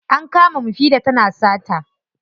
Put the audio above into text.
An kama mufida tana sata.